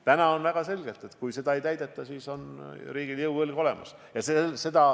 Täna on väga selge, et kui neid nõudeid ei täideta, siis on juriidiline jõuõlg olemas.